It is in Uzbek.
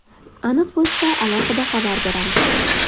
Aniq bo‘lsa, alohida xabar beramiz.